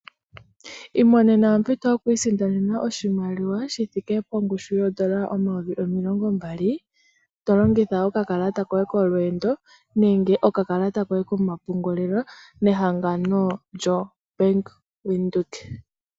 Imonena ompito yokwiisindanena oshimaliwa shithike pongushu yoondola omayovi omilongo mbali, tolongitha okakalata koye kolweendo, nenge okakalata koye komapungululilo, nehangano lyoBank Windhoek.